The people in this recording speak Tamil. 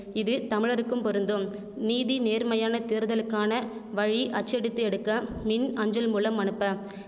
இது தமிழருக்கும் பொருந்தும் நீதி நேர்மையான தேர்தலுக்கான வழி அச்சடித்து எடுக்க மின் அஞ்சல் மூலம் அனுப்ப